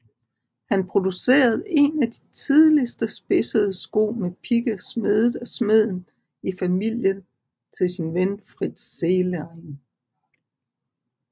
Han producerede en af de tidligste spidsede sko med pigge smedet af smeden i familien til sin ven Fritz Zehlein